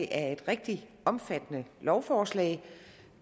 er et rigtig omfattende lovforslag